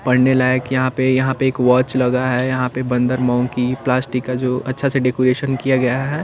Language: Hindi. पढ़ने लायक यहाँ पे यहाँ पे एक वाँच लगा है यहाँ पे बंदर मोंकि प्लास्टिक का जो अच्छा सा डेकोरेशन किया गया है।